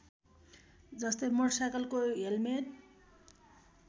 जस्तै मोटरसाइकलको हेल्मेट